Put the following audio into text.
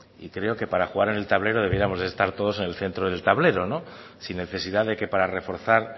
y creo que para jugar en el tablero debiéramos de estar todos en el centro del tablero sin necesidad de que para reforzar